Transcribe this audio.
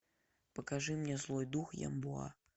покажи мне злой дух ямбуя